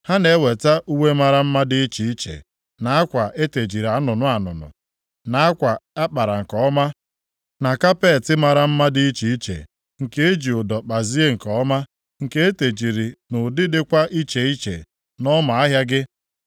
Ha na-eweta uwe mara mma dị iche iche, na akwa e tejiri anụnụ anụnụ, na akwa a kpara nke ọma, na kapeeti mara mma dị iche iche, nke e ji ụdọ kpazie nke ọma, nke e tejiri nʼụdị dịkwa iche iche nʼọma ahịa gị.